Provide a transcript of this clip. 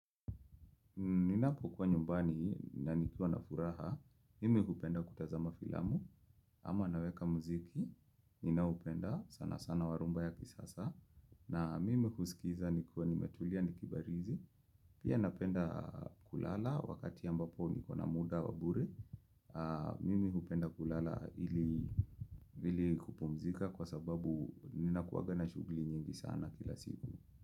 Ninapo kwa nyumbani na nikuwa na furaha, mimi kupenda kutazama filamu, ama naweka mziki, ninaupenda sana sana warumba yaki sasa. Na mimi kusikiza nikuwa nimetulia nikibarizi, pia napenda kulala wakati ambapo nikona muda wabure, mimi kupenda kulala ili kupumzika kwa sababu nina kuwaga na shugli nyingi sana kila siku.